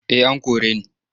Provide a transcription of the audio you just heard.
Eh an kore ni.